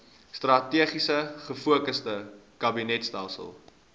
strategies gefokusde kabinetstelsel